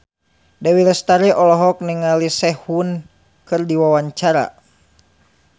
Dewi Lestari olohok ningali Sehun keur diwawancara